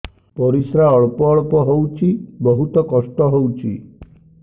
ପରିଶ୍ରା ଅଳ୍ପ ଅଳ୍ପ ହଉଚି ବହୁତ କଷ୍ଟ ହଉଚି